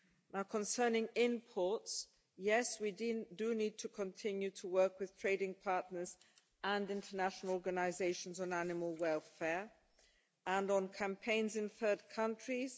Now, concerning imports yes, we do need to continue to work with trading partners and international organisations on animal welfare, and on campaigns in third countries.